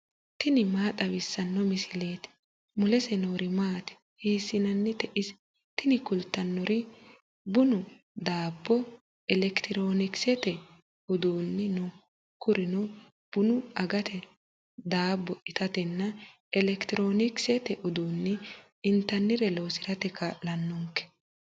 tini maa xawissanno misileeti ? mulese noori maati ? hiissinannite ise ? tini kultannori bunu, daabbo, elekitiroonikisete uduunni no kurino bunu agate daabbo itatenna elekitiroonikisete uduunni intannire loosirate kaa'lannonke.